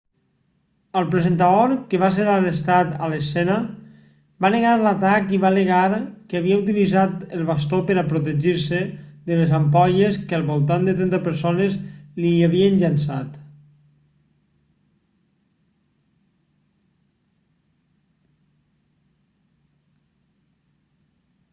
el presentador que va ser arrestat a l'escena va negar l'atac i va al·legar que havia utilitzat el bastó per a protegir-se de les ampolles que al voltant de trenta persones l'hi havien llençat